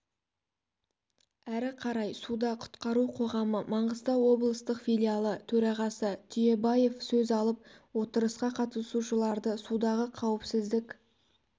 әрі қарай суда құтқару қоғамы маңғыстау облыстық филиалы төрағасы түйебаев сөз алып отырысқа қатысушыларды судағы қауіпсіздік